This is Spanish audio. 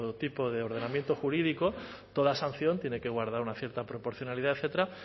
tipo de ordenamiento jurídico todas sanción tiene que guardar una cierta proporcionalidad etcétera